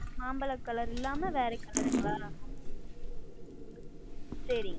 மாம்பழம் Color இல்லாமல் வேறு Color சரிங்கள்